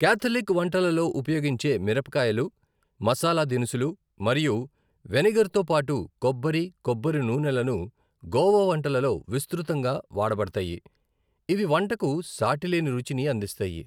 Catholic వంటలలో ఉపయోగించే మిరపకాయలు, మసాలా దినుసులు మరియు వెనిగర్తో పాటు కొబ్బరి, కొబ్బరి నూనెలను గోవా వంటలలో విస్తృతంగా వాడబడతాయి, ఇవి వంటకు సాటిలేని రుచిని అందిస్తాయి.